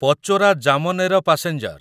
Pachora Jamner passenger